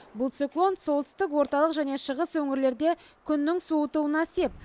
бұл циклон солтүстік орталық және шығыс өңірлерде күннің суытуына сеп